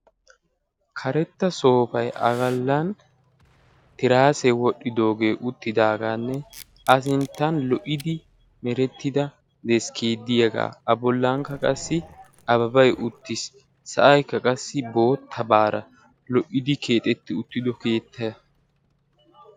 karetta soofay a bollan tiraase wodhdhidooge uttidaagaanne a sinttan lo"idi merettida deskkee diyaga a bollankka qassi ababay uttis. sa'ayikka qassi boottabaara lo"idi keexetti uttidokeettaa.